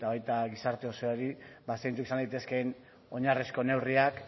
eta baita gizarte osoari zeintzuk izan daitezkeen oinarrizko neurriak